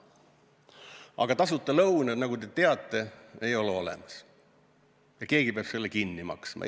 Aga tasuta lõunaid, nagu te teate, ei ole olemas ja keegi peab selle kinni maksma.